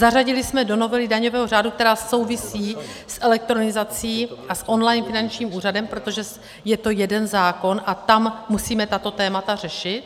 Zařadili jsme do novely daňového řádu, která souvisí s elektronizací a s online finančním úřadem, protože je to jeden zákon a tam musíme tato témata řešit.